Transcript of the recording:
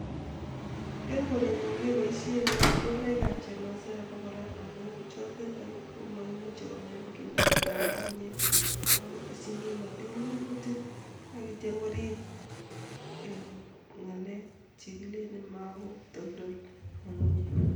Eng koren'nyo kepoishen katoldoloekab chemasaek ako kora amun chotetak komaimuch kong'em kimnatetab ngungunyek ako teshi kimnatet minutik akityo korip eng ngalek chekilelen makotoldol ngungunyek.